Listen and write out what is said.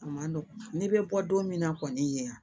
A ma nɔgɔn n'i bɛ bɔ don min na kɔni ye